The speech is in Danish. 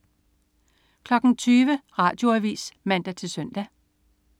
20.00 Radioavis (man-søn)